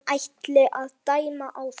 Hann ætli að dæma áfram.